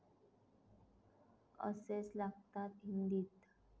असेच लागतात हिंदीत.